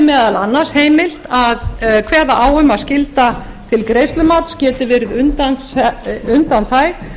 meðal annars heimilt að kveða á um að skylda til greiðslumats geti verið undanþæg